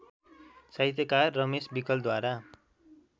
साहित्यकार रमेश विकलद्वारा